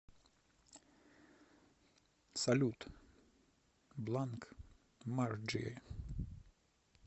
салют бланк марджи